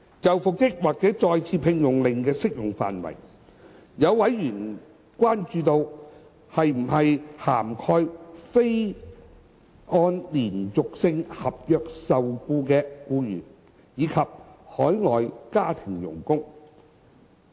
就復職或再次聘用令的適用範圍，有委員關注到，是否涵蓋非按連續性合約受僱的僱員，以及海外家庭傭工。